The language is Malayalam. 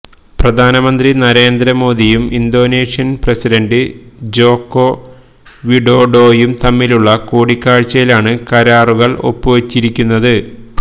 പ്രധാനമന്ത്രി നരേന്ദ്ര മോഡിയും ഇന്തോനേഷ്യൻ പ്രസിഡന്റ് ജോക്കോ വിഡോഡോയും തമ്മിലുള്ള കൂടിക്കാഴ്ചയിലാണ് കരാറുകൾ ഒപ്പുവച്ചിരിക്കുന്നത്